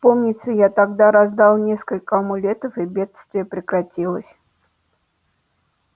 помнится я тогда раздал несколько амулетов и бедствие прекратилось